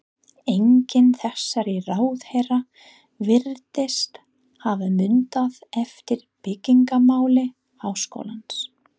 Enginn þessara ráðherra virðist hafa munað eftir byggingamáli háskólans.